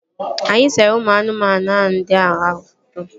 Anyị sere ụmụ anụmanụ ndị ahụ foto